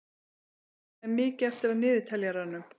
Anika, hvað er mikið eftir af niðurteljaranum?